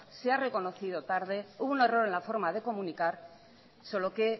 se ha reconocido tarde hubo un error en la forma de comunicar solo que